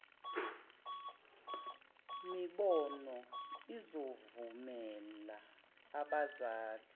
mibono izovumela abazali